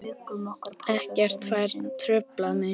Ekkert fær truflað mig.